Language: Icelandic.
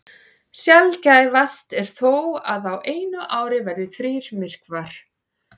Sjaldgæfast er þó að á einu ári verði þrír myrkvar.